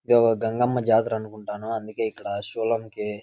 ఇక్కడ ఒక గంగమ్మ జాతర అనుకుంటాను అందుకే ఇక్కడ శూలం కి --